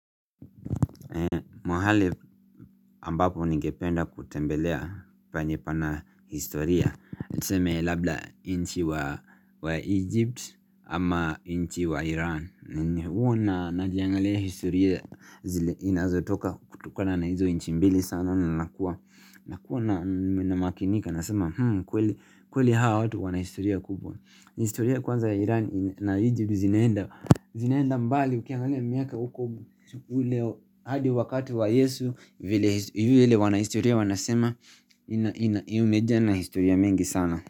Mahali ambapo ningependa kutembelea penye pana historia niseme labla nchi wa Egypt ama nchi wa Iran Huwa najiangalia historia zile inazotoka kutokana na hizo nchi mbili sana Nakua namakinika nasema kweli hawa watu wana historia kubwa historia kwanza ya Iran na Egypt zinaenda mbali ukiangalia miaka uko hii leo hadi wakati wa Yesu vile wanahistoria wanasema imejaa na historia mingi sana.